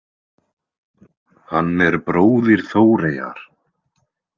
Hann er bróðir Þóreyjar.